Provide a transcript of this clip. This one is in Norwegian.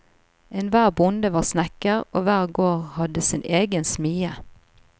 Enhver bonde var snekker og hver gård hadde sin egen smie.